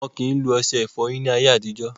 Wọn ò kí ń lo ọṣẹ ìfọyín ni ayé àtijọ́.